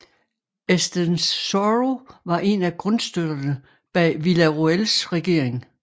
Estenssoro var en af grundstøtterne bag Villarroels regering